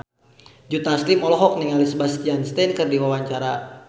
Joe Taslim olohok ningali Sebastian Stan keur diwawancara